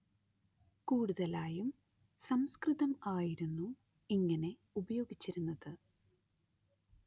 കൂടുതലായും സംസ്കൃതം ആയിരുന്നു ഇങ്ങനെ ഉപയോഗിച്ചിരുന്നത്